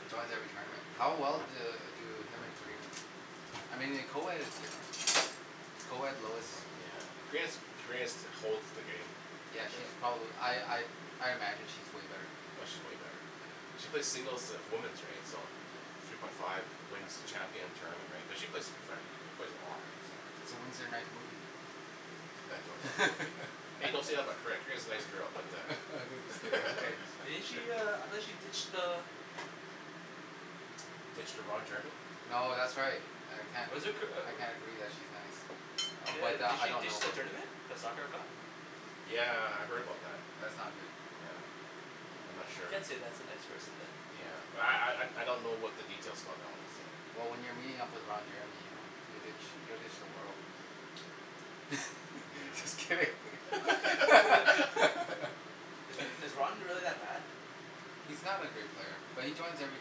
He joins every tournament. How well do do him and Karina do? I mean in co-ed it's different. In co-ed low is Karina's Karina's holds the game Yeah she's probably I I I imagine she's way better than him. Oh she's way better. She plays singles of women's right, so, three point five wins the champion tournament right, she play profe, she plays a lot So when's their next movie? hey don't say that in my crib, Karina's a nice girl but uh Didn't she uh, I thought she ditched uh Ditch to Ron Jeremy No that's right I Was it Kir- uh I can't agree that she's nice, Yeah, but did I she don't know ditched the her. tournament, the cup? Yeah. Yeah, I heard about that. That's not good. Yeah, I'm not I sure. can't say that's a nice person than. Yeah, but I I don't know what the details about that one is, so Well when you're meeting up with Ron Jeremy, you ditch, you you'll ditch the world just Yeah. kidding Is is Ron really that bad? He's not a great player but he joins every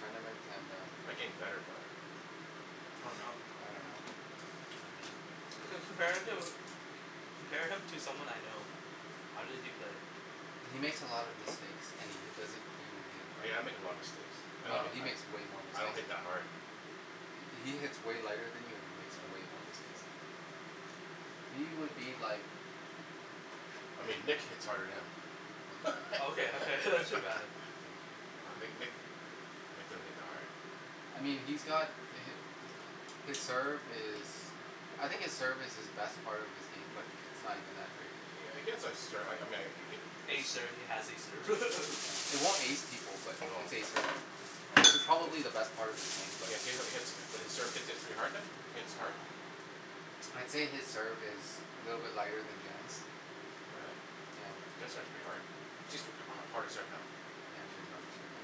tournament and um Looking better though Oh no. I don't know. compare him compare him to someone I know, how did he play? He makes a lot of mistakes and he doesn't even hit hard Yeah, I make a lot of mistakes, I don't No he hit makes way more I don't mistakes hit than that you hard He he hits way lighter than you and he makes way more mistakes. He would be like I mean Nick hits hard than him Okay okay Uh Nick Nick, Nick doesn't hit that hard I mean he's got the hit His serve is I think his serve is his best part of his game but it's not even that good I mean he has a serve, I mean he hit Ace serve he has a serve It won't ace people but No it it's probably the best part of his game but He he hits, his serve gets to be hard then, he hits hard? I'd say his serve is a little bit lighter than Jen's. All right. Yeah. Jen's serve is pretty hard, she's uh harder serve now. Yeah she has a harder serve now.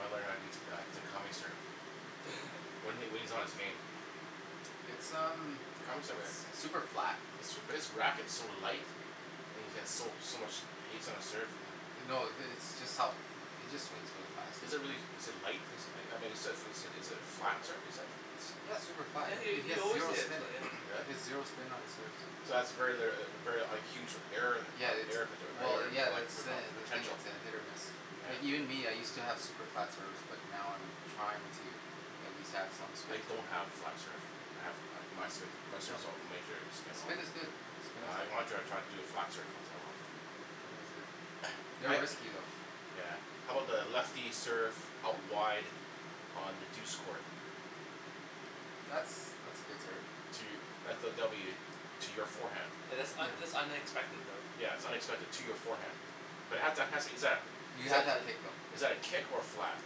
I learn how to do Takami's serve, when he when he's on his game It's um s- super super flat, flat his his racket is so light and he has so so much hast on his serve No the it's just how, he just swings really fast Is it really, is it light? Is I mean is it is it a flat term you said? Yeah it's super flat Yeah and he he he he has always zero hits spin, he really? has zero spin on his serves So that's very litera- very a huge error in that, Yeah it's error potent, well yeah err that's the poten- the thing potential it's a hit or miss Like even Yeah me I used to have super flat serves but now I'm trying to at least have some I spin don't have flat serve, I have my spin, my No serves, no has major spin all. Spin is good, spin is I good wanna try to do a flat serve once in a while They're risky though Yeah I'm about lefty serve out wide on the douce court? That's that's a good serve To, that's a W to your forehand. Oh Yeah that's un- that's unexpected though. its unexpected to your forehand, but it has, exactly, You but have to have that kick though is that a kick or a flat?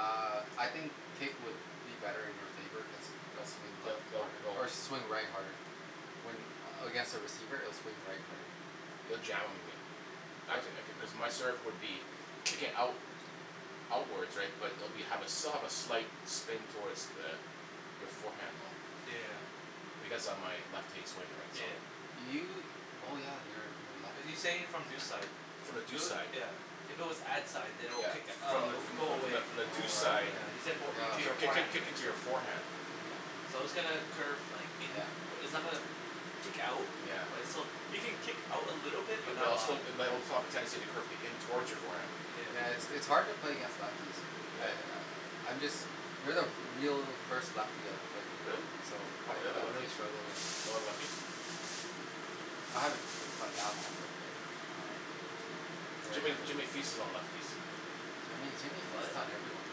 Uh I think kick would be better in your favor cuz it'll swing left hard or swing right harder When against a receiver it'll swing right harder It'll jam in you. Actu- cuz my serve would be kicking out outwards right but it will have be still a slight spin toward the your forehand though. Yeah Because of my lefty swing right so Yeah You oh yeah you're you're a Are lefty you He's saying it saying from from deuce deuce side, side From the deuce side yeah, if it was ad side than it would Yeah. kick it up From and it the from will the go from away the from the Oh deuce side right yeah, yeah kick- kick- right kicking to your forehand Yeah But all still it might reflect off the tendency of the curve towards your forearm Yeah it's it's hard to play against lefties I I I'm just, you're the real first lefty I've played Really? against, so How I 'bout the other I really lefties? struggle with No other lefties? I haven't been been playing that long but um yeah you're Jimmy the Jimmy feasts on all lefties Jimmy Jimmy What? feasts on everyone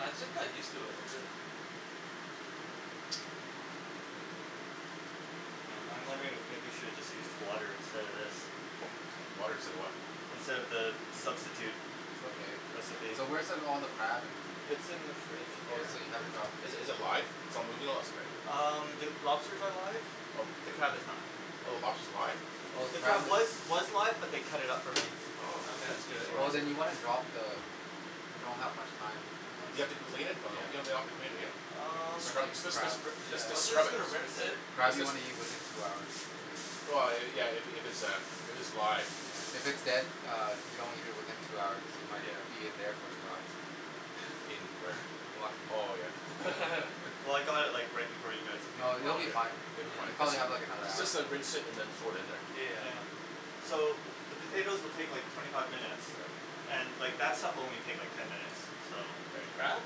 I I just kinda used to it, that's it Hmm I'm wondering if maybe you should just use water instead of this? Water instead of what? Instead of the substitute It's okay. recipe So where's the all the crab and. It's in the fridge Oh here so you haven't dropped it in Is is it live, its not moving lots right? Um the lobsters are live, Oh. the crab is not. Oh the Oh. lobster's live? Oh the The crab crab is was was live but they cut it up for me, Oh because its That's good easier Oh than then you wanna drop the, you don't have much time You have to clean it? No no, you don't have to clean it yeah, Um scrub Especially just just crab. I was scrub just it. gonna Just rinse it Crab you just. wanna eat within two hours. Yeah yeah if its a if it's live If it's dead uh if you don't eat it within two hours you might be in there for two hours In where? Oh yeah. Well I got it like right before you guys came, No they'll but Oh um be yeah. fine, It will be you fine. probably have like another Just hour just rinse it and then throw it in there. So the potatoes will take like twenty five minutes and like that stuff will only like take ten minutes, so The crab?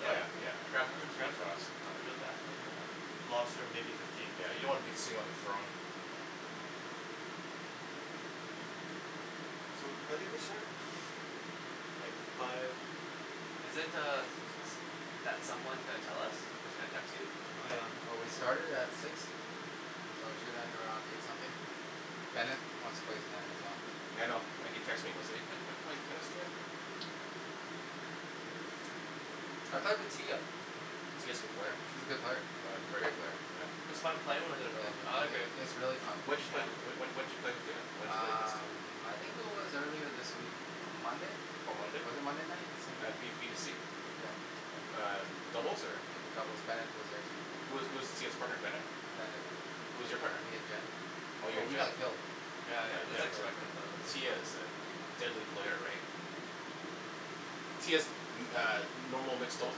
Yeah Lobster maybe fifteen Yeah you don't wanna be seeing on the throne So when did they start? Like five Isn't er that someone gonna tell us, is gonna text you? Oh yeah Oh we started at six so it should end around eight something. Bennett wants to play tonight as well. Yeah I know he texted me, saying, "Hey wait are we playing tennis tonight?" I played with Tia Tia is a good player, She's a good player, oh she's a great great player, player. yeah. It's When fun playing Yeah with her though, I like it. it it's really fun did you play Yeah when when did you play with her, when did you play against Um her? I think it was earlier this week, M- Monday? On Monday? Was it Monday night, something At like b b t that c? Yeah Uh doubles or? In the doubles, Bennet was there too. Who who's Tia's partner? Bennett? Bennet Who's your partner? me and Jen. Oh you Oh and we Jen. got killed Yeah Yeah yeah that's Jen. expected though right Tia is a deadly player right? Tia's uh, normal mixed doubles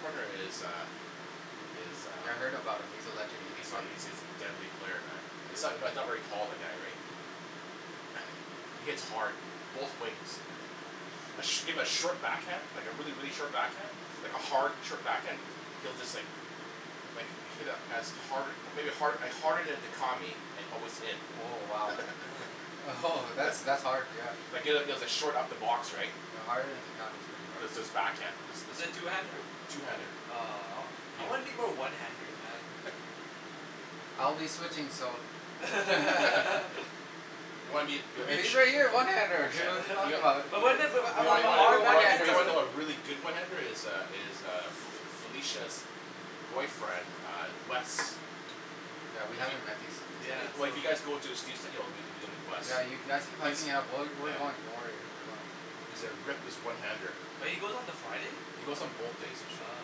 partner is uh, is Yeah I uh, heard about him, he's a legend in these he's a part he's a deadly player man, he's not not very tall the guy, right? He hits hard, both wings. A shim a short back hand like a really really short backhand, like a hard short backhand he'll just like like hit a as hard a maybe hard harder than Dicami with within. Oh wow Oh ho that's that's hard yeah even at short upper box right? Yeah harder than Dicami is pretty hard Backhand. Is is two handed? I'll be switching so You'll be the Usually I get a one handed here what're you talking about But wasn't it but but Oh one handed Yeah we haven't met these these Yeah Yeah you've actually been hyping it up we're we're going doing worry we're going He's a reckless one-handed. But he goes on the Friday? He goes on both days Oh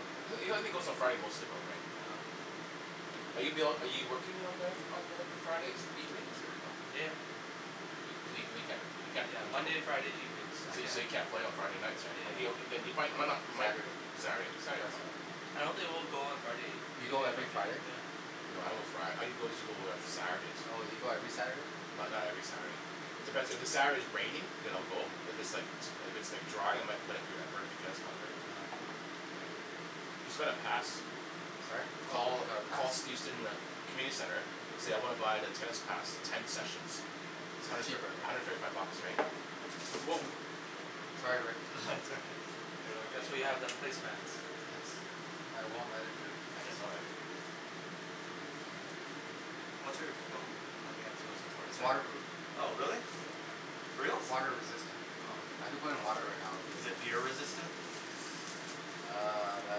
okay. He only goes on Friday mostly though right? Oh okay. Are you ab- are you working on Mo- on Friday evenings? Yeah You mean, you can't Yeah, Monday and Friday evenings I can't. Yeah. Yeah. do? I don't think we'll go on Friday, Do you go even if I every can. Friday? Oh you go every Saturday? Not not every Saturday. Sorry? Oh oh you got a pass? Community center. So I wanna buy the tennis pass, ten sessions. It's hundred cheaper thirty five bucks, right? Whoa Sorry Rick here let me get you That's what a you towel have, that's place mats I won't let it drip Oh it's all right Watch out of the phone, okay, its the most important It's thing. water proof Oh really? Yeah For reals? Water resistant Oh. I could put it in water right now and I'd Is it be okay beer resistant? Uh that I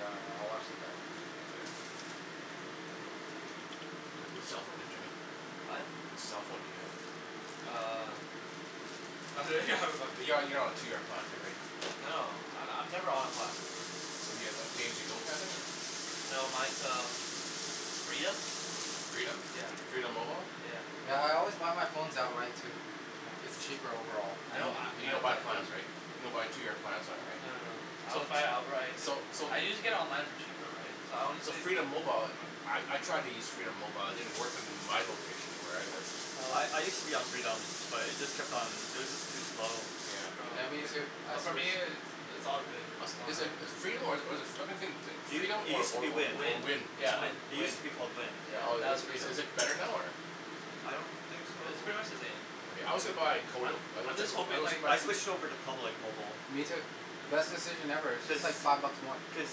don't know I watch the Which cellphone do you have Jimmy? Oh? Which cellphone do you have? Uh You're you're on a two year plan too, right? No no I I'm never on plan. So you have like a pay as you go plan thing or No mine's uh Freedom. Freedom? Yeah. Freedom mobile? Yeah Yeah. yeah I always buy my phone outright too, its cheaper overall Hmm? You don't buy plans, right? You don't buy two year plans on it No no no. right? I always buy it outright, So. So so I can get it online for cheaper, right, so So Freedom mobile, I I tried to use Freedom mobile, it didn't work in my location where I live. I I Oh use to be on Freedom, but it just kept on, it was just too slow Yeah Yeah me too, I Oh for me switched it's it's all good As is is Yeah Freedom or or is it or I been thinking It Freedom it or use to or be or Wind, Wind. Wind? It's Wind. it use Wind. to be called Wind. Yeah, Or now it's Is Freedom. is it better now, or? I don't think so. No it's pretty much the same Yeah, I also buy Kodo. I I also, just I hoping also like I switched over to Public mobile. Me too, best decision ever it's Cuz, just like five bucks more Cuz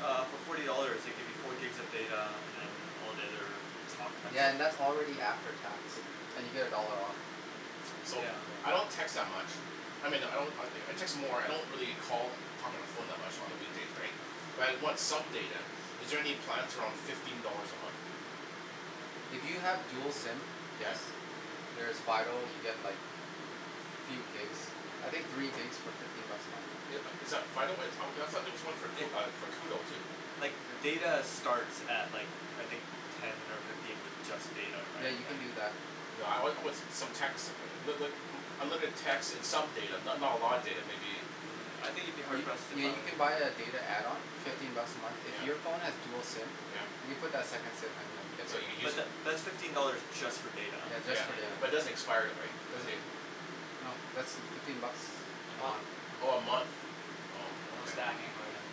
uh for forty dollars they give you four gigs of data and then all the other Yeah and that's already after tax and you get a dollar off So Yeah I don't text that much, I mean I don't I I text more I don't really call talk on the phone much on the weekdays right but I want some data, is there any plans around fifteen dollars a month? If you have dual Hmm SIM Yes yes There's Fido you get like few gigs I think three gigs for fifteen bucks a month Is is that Fido? Uh I thought there was one Like uh for Koodo too? like data starts at like I think ten or fifteen with just data Yeah right you can like do that No I I want some texting right, but but unlimited text and some data, not not a lot of data maybe Yeah, I think you'd be hard You pressed to yeah find you can buy a data add-on fifteen bucks a month. If Yeah your phone has dual SIM Yeah you can put that second SIM in So there you use But tha- that's fifteen dollars just for data Yeah just Yeah, for data but it Yeah doesn't expire right, the Doesn't data? No that's fifteen bucks A month um Oh a month. Oh, And no ok. Hmm stacking or anything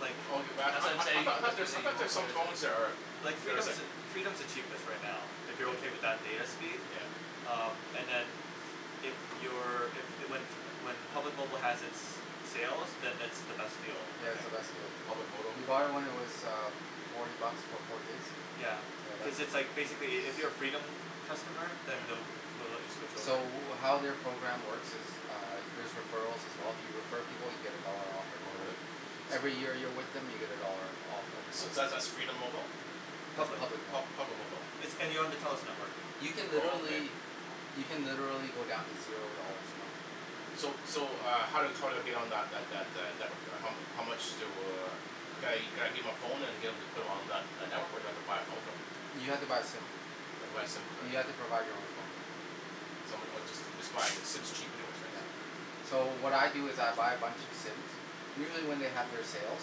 Like I That's what I'm I I saying thought there's I thought there's some phone that are Like there's Freedom's like the, Freedom's the cheapest right now if you're okay with that data speed, Yeah um, and then if you're, if, the when when Public Mobile has it's sale then it's the best deal I That's think the best deal Public mobile Did you buy it when it was uh forty bucks for four gigs? Yeah. Yeah that's Cuz the it's like one basically if you're a Freedom customer then Yeah they'll they'll let you switch over. So how their program works is Uh there's referrals as well, if you refer people you get a dollar off Oh every month really? Every year you're with them you get a dollar off every So month that's that's Freedom Mobile? No it's Public. Public Pub- Mobile Public Mobile. It's, and you're on the Telus network You can Oh okay. literally you can literally go down to zero dollars a month. So so uh how how do I get on that that that network, how mu- how much do, could I could I give my phone and get em to put on that that network or do I haffa buy a phone from them? You have to buy a SIM, I have to buy a SIM card. you have to provide your own phone. Some or just just buy a SIM's cheap anyways. So what I do is I buy a bunch of SIMs, usually when they have their sales,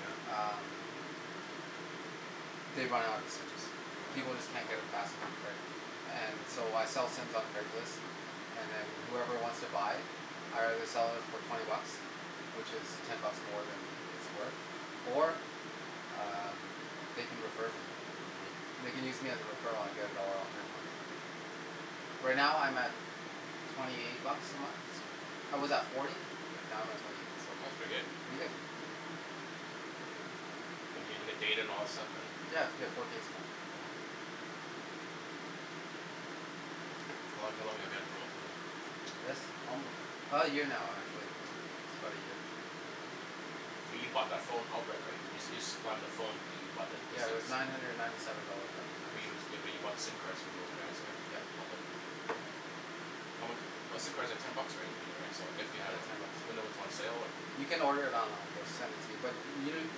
Yeah um They run out of SIMs, Oh people just yeah. can't get them fast enough And so I sell SIMs on Craigslist And then whoever wants to buy I either sell it for twenty bucks which is ten buck more than it's worth or um they can refer me. Hmm They can use me as a referral and I get a dollar off every month Right now I'm at twenty eight bucks a month, I was at forty but now I'm at twenty eight so, pretty good. And and you get data and all that stuff and? Yeah, I get four gigs now Hmm How how long have you had the phone for than? This um now actually, Hmm about a year But you bought that phone outright, right? You you supplied them the phone but you you bought the SIM Yeah it card. was nine hundred and ninety seven dollars at the time But but you bought the SIM cards from those guys right? Yeah How mu- , but SIM cards are ten bucks right. Yeah it's ten bucks When they were on sale. You can order it online they'll send it to you. But u- u-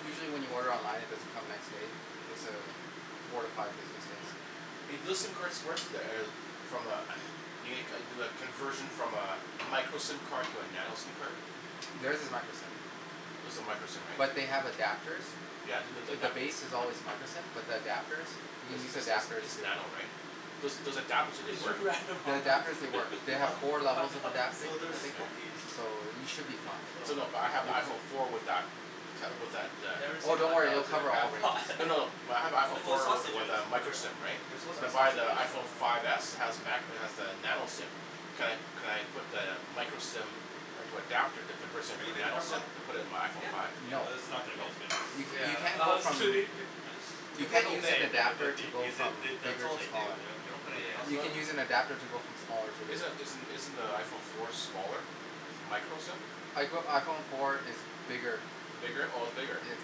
usually when you order online it doesn't come next day, it's a four to five business days. Yeah Hey do those SIM cards work, the eh, from a eh, you make you do a conversion from a micro SIM card to a nano SIM card? There's is micro SIM Those are micro SIM right? But they have adapters Yeah, they look like The that base is always micro SIM but the adapters, you can It's use the it's adapters it's here nano right? Those those adapters do they work? The adapters they work, they have Hmm? four levels of Ah. adapting No there's I think Okay. so you should be fine So no but I have iPhone four with that Never Oh seen don't worry they'll in a cover crab all ranges pot No no no, my I have No, iPhone they're four with with sausages, a micro they're SIM right, they're suppose to when be I buy the sausages IPhone five s it has macro, it has the nano SIM, can could I put the micro SIM into adapter that converts it Have into you a been to nano SIM and put it into my iPhone five? Yeah, No though this is not gonna be as No? good. You Yeah. you can't go I'm from, kidding you If we have can't a move an then it adapter would to be, go because they from that's that's bigger all they to do, smaller they don't put anything else You in can use an there. adapter to go from smaller to Is bigger isn't isn't the iPhone four smaller, it's micro SIM? I go iPhone four is bigger Bigger, oh it's bigger? It's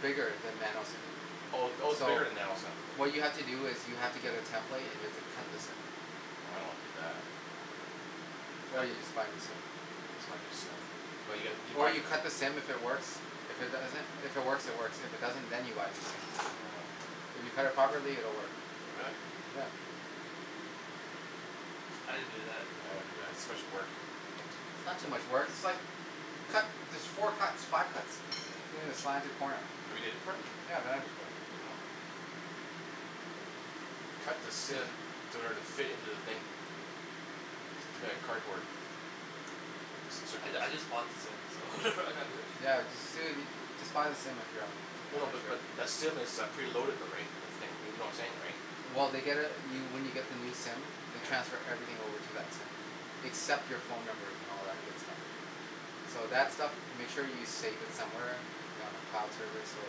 bigger than nano SIM Oh oh its So bigger than nano SIM? what you have to do is you have to get a template and you have to cut the SIM I don't wanna do that. Or That'll you just buy a new SIM Just buy a new SIM But you gotta, you Or buy you cut the SIM if it works, if it doesn't if it works it works, if it doesn't then you buy a new SIM Oh If you cut it properly it will work Will it? I didn't do that. I wouldn't do that, it's too much work. It's not too much work, it's like you cut there's four cuts five cuts Hmm the corner Have you did it before? Yeah I've done it before Oh. Cut the SIM to order it to fit into the thing It's made out of cardboard. Some sort I of I just bought the SIM, so Yeah you ju- you No no but just but SIM is uh preloaded though right, that's the thing, you know what I'm saying right? Well they get uh you when you get the new SIM they transfer everything over to that SIM except your phone numbers and all that good stuff. So that stuff, make sure you save it somewhere if you're on a cloud service or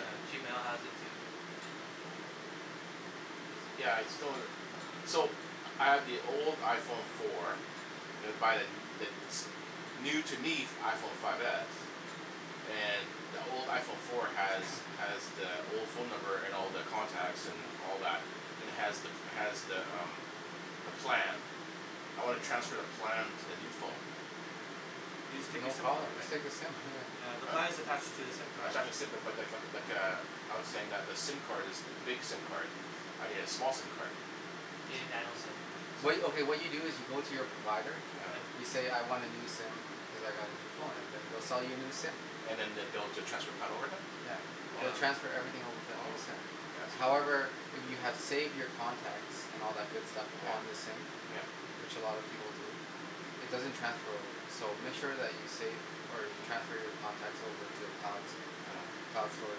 Yeah, Gmail has it too. Yeah, it's So, I have the old iPhone four and I buy the n- the new, to me, f- iPhone five s, and the old iPhone four has, has the old phone number and all the contacts and all that and has the, has the umm the plan. I wanna transfer the plan to the new phone. You just take your No SIM card, problem, just right? take the SIM yeah. Yeah, the plan is attached to the SIM I card. tried to [inaudible 0:30:35.01 - 0:30:35.49] but- but- lik- lik- like a, I was saying that the SIM card is big SIM card. I need a small SIM card. You need nano SIM. What you, okay, what you do is you go to your provider. Mhmm. You say, "I want a new SIM because I got a new phone" and then they'll sell you a new SIM. And then they'll be able to transfer plan over then? Yeah. They will Oh. transfer everything over to that Oh new SIM. okay. Yeah, that's easy. However, if you have saved your contacts and all that good stuff Yeah. on the SIM, Yeah. which a lot of people do, it doesn't transfer over. So make sure that you save, or you transfer your contacts over to a cloud, cloud store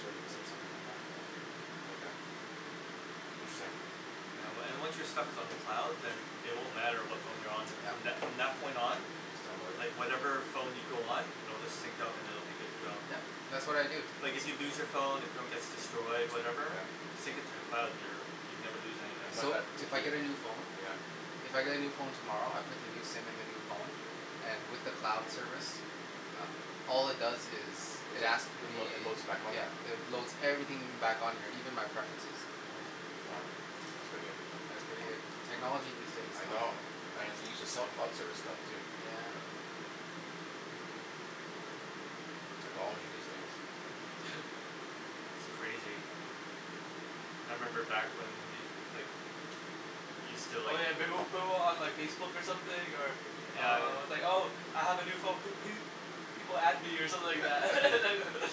service or something like that. Okay Interesting. Yeah, wa- and once your stuff is on the cloud, then it won't matter what phone you're on with, from Yeah. that, from that point on Just download it. like whatever phone you go on it'll just sync up and it'll be good to go. Yep. That's what I do. Like if you lose your phone, your phone gets destroyed, whatever. Sync it to the cloud and you're, you'd never lose anything. So, if I get a new phone Yeah. If I get a new phone tomorrow, I put the new SIM in the new phone, and with the cloud service, uh all it does is, it asks It load, me, it loads back on yeah, there. it loads everything back on here, even my preferences. Uh. Oh. That's pretty good. Yeah, it's pretty good. Technology these days, I Don. know. I have to use a self-cloud service stuff, too. Yeah. Technology these days. It's crazy. I remember back when we, like, we still Oh like yeah, they will put it on like Facebook something or Yeah. uh, it's like, "Oh I have a new phone pe- pe- people add me" or something like that.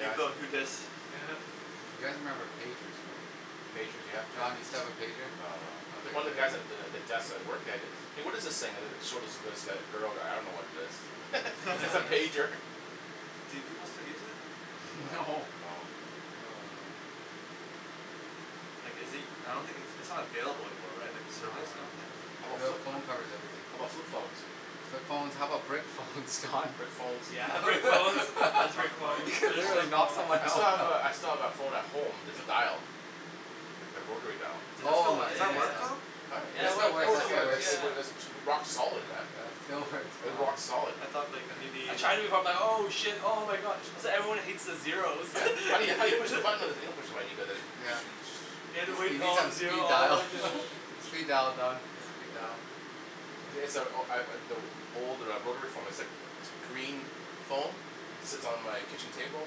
New phone You guys remember pagers right? Pagers, yeah. Don, you still have a pager? No. Okay, One of good. the guys at the, at the desk I worked at it, "Hey, what is this thing?" and then it showed it to this g- girl, like, "I don't know what it is." It's a pager. Do people still use it? No, No. no. No, no. Like is it, I don't think its, it's not available anymore, right? Like No, no, no, no. service, I don't Your think? phone covers everything. How about flip phones? Flip phones. How about brick phones, Don? Brick phones. You're Brick phones and Soccer flip player phones. They're just, gonna like, knock phones. someone I still have out. a, I still have that phone at home that's dial. Oh So, my Ai does ya that goodness, work ya. man. though? It still [inaudible works, it still works. 0:32:42.56 - 0:32:43.83] rock solid man. Yeah, still works. Uh, rock solid. I thought like, maybe I tried it before. I'm like, "Oh shit, oh my god. That's why everyone hates the zeros." Yeah. How you, how you push the button? Like, you don't push the button, you go like this. Yeah. You need some speed dial. Speed dial Don, speed dial. Yeah. [inaudible 0:32.59.28 - 0:33:00.74] old uh rotary phone. It's like, it's a green phone, sits on my kitchen table.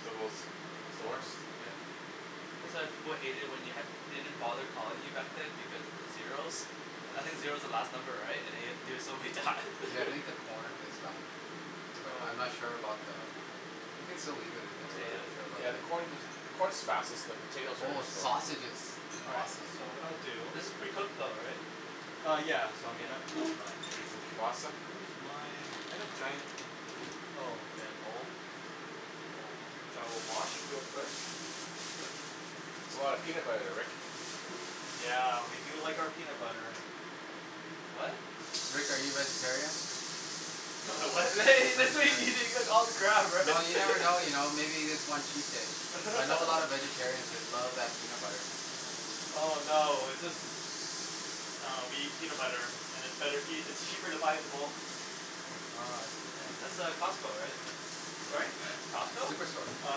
Still goes, still works. Yeah. That's why people hated it when you had- didn't bother calling you back then because of the zeros. I think Mm. zero's the last number, right? And you have to do it so many times. Hey, I think the corn is done. But I'm not Oh. sure about the We can still leave it in there, Potato. Yeah, the right? corn i- the corn's fastest, the potatoes are Oh the slowest. sausages. All right. Awesome. So what I'll do This is pretty cooked though, right? Uh yeah. So I mean that, that's fine. pasta? Where's my, I had a giant, oh. Giant bowl? Bowl, which I will wash real quick. That's a lot of peanut butter, Rick. Yeah, we do like our peanut butter. What? Rick, are you a vegetarian? Am I what? He just said he, he's gonna eat all the crab, right? Well, you never know you know. Maybe you just want cheat days. I know a lot of vegetarians, they love that peanut butter. Oh no, it's just, uh, we eat peanut butter, and it's better eat- and it's cheaper to buy it in bulk. Oh I see. That's uh, Costco, right? Sorry? It's Costco? Superstore. Uh,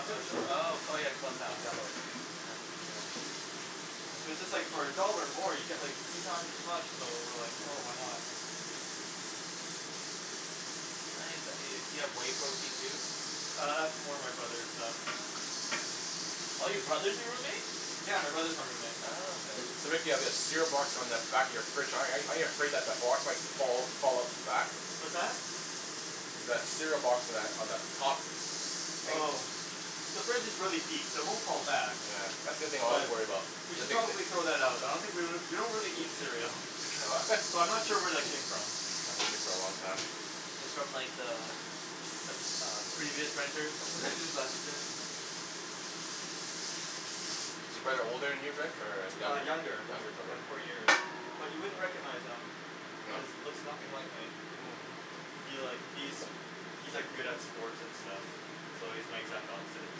Superstore. Oh [inaudible 0:34:06.91 - Yellow. 0:34:08.08] So just like for a dollar more, you get, like, three times as much, so we're like, "Oh, why not." You have whey protein too? Uh, that's more my brother's stuff. Oh your brother's your roommate? Yeah. My brother's my roommate. Oh, okay. So Rick, you have that cereal box on the back of your fridge. ar- aren't you afraid that the box might fall, fall off the back? What's that? That cereal box on that, on the top. Oh. The fridge is really deep, so it won't fall back. Yeah. That's the thing I always worry about. We should probably throw that out. I don't think we l- we don't really eat cereal. Oh So, I'm not sure where that came from. It's from like the, the- uh previous renters who just left it. Is your brother older than you, Rick, or, uh Uh, younger? younger, Younger by brother. four year. But you wouldn't recognize him. He No? looks, looks nothing like me. He like, he's, he's like good at sports and stuff. So he's my exact opposite.